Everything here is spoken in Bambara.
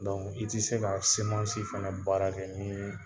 i tɛ se ka fana baara kɛ ni